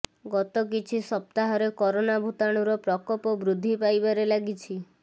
ଗତ କିଛି ସପ୍ତାହରେ କରୋନା ଭୂତାଣୁର ପ୍ରକୋପ ବୃଦ୍ଧି ପାଇବାରେ ଲାଗିଛି